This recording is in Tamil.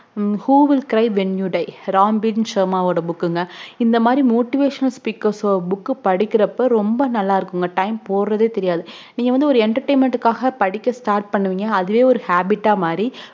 google cry venue die Ram V சோம உடைய book ங்க இந்த மாதிரி motivational epeaker அஹ் ஓட book அஹ் படிக்குறப்பரொம்ப நல்லா இருக்கும் time போறதே தெரியாது நீங்க ஒரு entertainment காக படிக்க start பண்ணுவீங்க அதுவே ஒரௌ habbit ஆஹ் மாறி